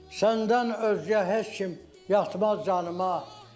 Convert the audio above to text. Səndən özgə heç kim yatmaz canıma.